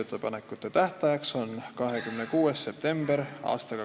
Aitäh!